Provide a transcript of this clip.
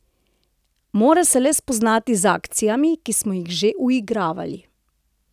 Mora se le spoznati z akcijami, ki smo jih že uigravali.